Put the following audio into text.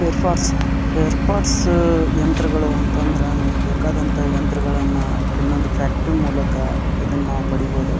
Fair parts spare parts ಯಂತ್ರಗಳು ಅಂತ ಅಂದ್ರೆ ನಮಗೆ ಬೇಕಾದಂತ ಯಂತ್ರಗಳನ್ನಾ ಇಲ್ಲೊಂದು ಫ್ಯಾಕ್ಟರಿ ಮೂಲಕ ಇದನ್ನ ನಾವು ಪಡಿಬಹುದು.